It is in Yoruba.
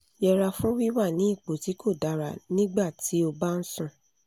yẹra fún wíwà ní ipò tí kò dára nígbà tí o bá ń sùn